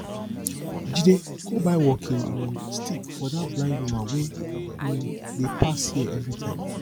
jide go buy walking um stick for dat blind woman wey um dey pass here everytime